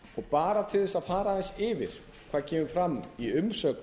bara til þess að fara aðeins yfir hvað kemur fram í umsögn